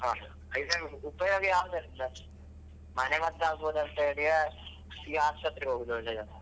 ಹಾ ಉಪಯೋಗ ಯಾವ್ದಂತ ಮನೆ ಮದ್ದು ಆಗ್ಬೊದಂತೇಲಿಯ ಇಲ್ಲ ಆಸ್ಪತ್ರೆಗೆ ಹೋಗುದು ಒಳ್ಳೇದಾ.